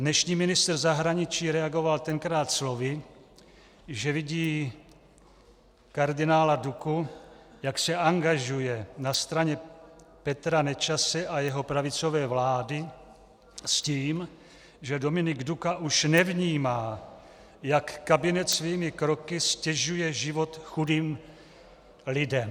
Dnešní ministr zahraničí reagoval tenkrát slovy, že vidí kardinála Duku, jak se angažuje na straně Petra Nečase a jeho pravicové vlády, s tím, že Dominik Duka už nevnímá, jak kabinet svými kroky ztěžuje život chudým lidem.